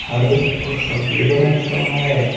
हरे और सफेद रंग का हैं।